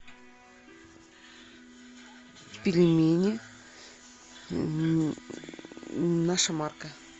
пельмени наша марка